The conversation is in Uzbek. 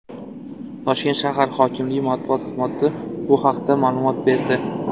Toshkent shahar hokimligi matbuot xizmati bu haqda ma’lumot berdi.